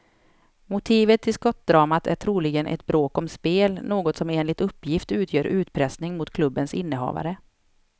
Motivet till skottdramat är troligen ett bråk om spel, något som enligt uppgift utgör utpressning mot klubbens innehavare.